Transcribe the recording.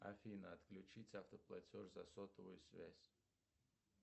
афина отключить автоплатеж за сотовую связь